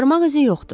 Barmaq izi yoxdur.